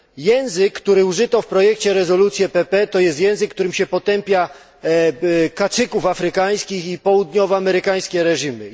Język, którego użyto w projekcie rezolucji PPE to jest język, którym się potępia kacyków afrykańskich i południowoamerykańskie reżimy.